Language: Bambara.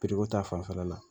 ko ta fanfɛla la